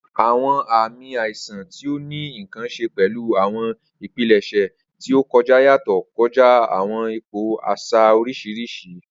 Awọn aami aisan ti o ni nkan ṣe pẹlu awọn ipilẹṣẹ ti o kọja yatọ kọja awọn ipo aṣa oriṣiriṣi.